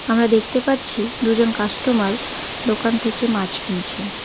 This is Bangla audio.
আমরা দেখতে পাচ্ছি দুজন কাস্টমার দোকান থেকে মাছ কিনছেন।